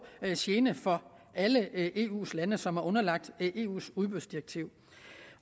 gene for alle eu lande som er underlagt eus udbudsdirektiv